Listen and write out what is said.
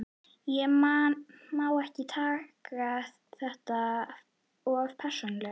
Ég má ekki taka þetta of persónulega.